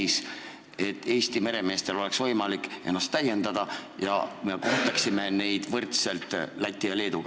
Sel juhul oleks Eesti meremeestel võimalik ennast täiendada ja me kohtleksime neid võrdselt Läti ja Leeduga.